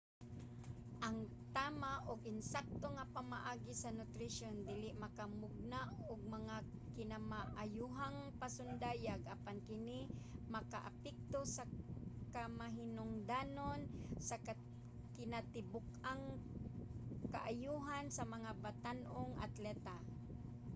ang tama ug ensakto nga pamaagi sa nutrisyon dili makamugna og mga kinamaayohang pasundayag apan kini makaapekto sa kamahinungdanon sa kinatibuk-ang kaayohan sa mga batan-ong atleta